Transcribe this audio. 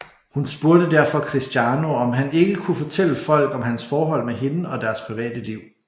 Hun spurgte derfor Cristiano om han ikke kunne fortælle folk om hans forhold med hende og deres private liv